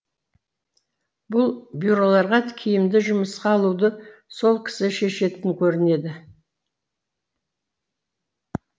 бұл бюроларға киімді жұмысқа алуды сол кісі шешетін көрінеді